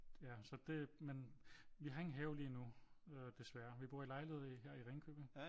Ja så det men vi har ingen have lige nu øh desværre vi bor i lejlighed her i Ringkøbing